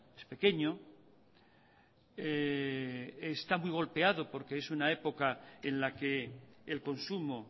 es pequeño está muy golpeado porque es una época en la que el consumo